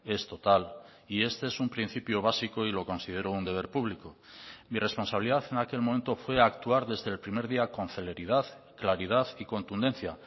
es total y este es un principio básico y lo considero un deber público mi responsabilidad en aquel momento fue actuar desde el primer día con celeridad claridad y contundencia